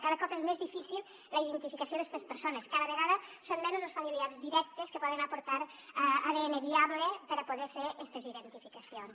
cada cop és més difícil la identificació d’estes persones cada vegada són menys els familiars directes que poden aportar adn viable per a poder fer estes identificacions